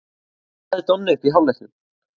Hvað lagði Donni upp í hálfleiknum?